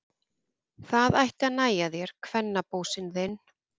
Það ætti að nægja þér, kvennabósinn þinn!